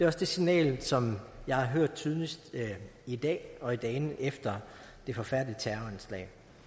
også det signal som jeg har hørt tydeligst i dag og i dagene efter det forfærdelige terroranslag